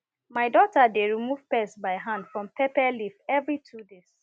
my daughter dey remove pest by hand from pepper leaf every two days